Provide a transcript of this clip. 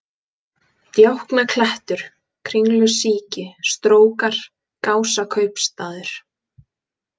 Djáknaklettur, Kringlusíki, Strókar, Gásakaupstaður